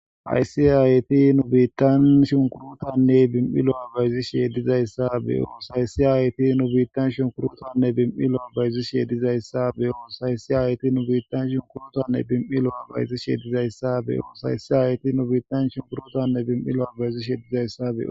Hayisi hayti nu biittan shunkurotanne bim'ilo'a abayzi sheedizayssa be'o